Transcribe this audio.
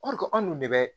anw dun de bɛ